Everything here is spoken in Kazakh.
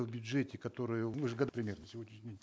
в бюджете который примерно сегодняшний день